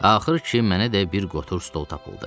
Axır ki, mənə də bir qotur stol tapıldı.